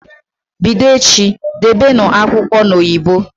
Bido echi, Debenụ akwụkwọ n'oyibo!